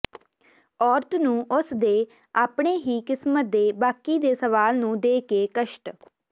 ਔਰਤ ਨੂੰ ਉਸ ਦੇ ਆਪਣੇ ਹੀ ਕਿਸਮਤ ਦੇ ਬਾਕੀ ਦੇ ਸਵਾਲ ਨੂੰ ਦੇ ਕੇ ਕਸ਼ਟ